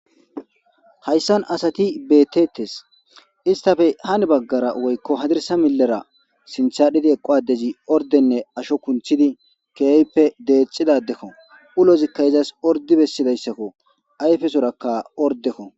Hayssan asati betetes istafe hani baggara woykko hadirsa millera sinthadhidi eqo adezi ordenne asho kunthidi keehppe deexidadekko ulozikka izas ordi bessidayssakko ayfesorakka ordekko.